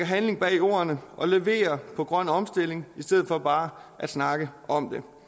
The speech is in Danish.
handling bag ordene og leverer på grøn omstilling i stedet for bare at snakke om